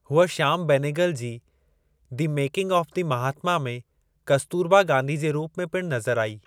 हूअ श्याम बेनेगल जे the making of the Mahatma में कस्तुरबा गांधी जे रूपु में पिणु नज़र आई।